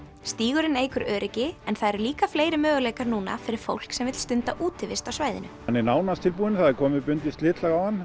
stígurinn eykur öryggi en það eru líka fleiri möguleikar núna fyrir fólk sem vill stunda útivist á svæðinu hann er nánast tilbúinn það er komið bundið slitlag á hann